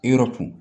Yɔrɔ kun